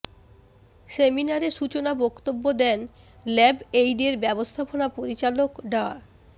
সেমিনারে সূচনা বক্তব্য দেন ল্যাব এইডের ব্যবস্থাপনা পরিচালক ডা